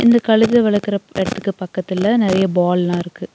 இந்த கழுத வளர்க்கற எடத்துக்கு பக்கத்துல நெறைய பால்ல்லா இருக்கு.